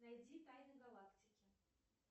найди тайны галактики